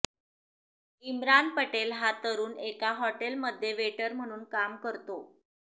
इम्रान पटेल हा तरुण एका हॉटेलमध्ये वेटर म्हणून काम करतो